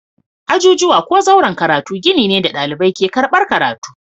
Ajujuwa ko zauren karatu gini ne da ɗalibai ke karɓar karatu.